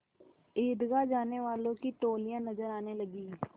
ईदगाह जाने वालों की टोलियाँ नजर आने लगीं